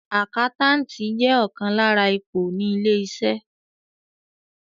Àkáńtàtì jẹ́ ọ̀kan lára ipò ní ilé-iṣẹ́.